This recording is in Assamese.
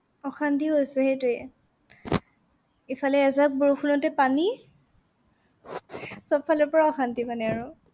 অশান্তি হৈছে সেইটোৱে। ইফালে এজাক বৰষুণতে পানী। সবফালৰ পৰা অশান্তি মানে আৰু।